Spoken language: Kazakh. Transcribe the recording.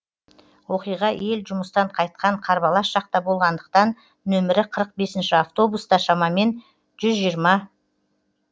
оқиға ел жұмыстан қайтқан қарбалас шақта болғандықтан нөмірі қырық бесінші автобуста шамамен жүз жиырма